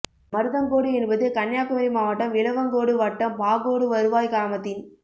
மருதங்கோடு என்பது கன்னியாகுமரி மாவட்டம் விளவங்கோடு வட்டம் பாகோடு வருவாய் கிராமத்தின்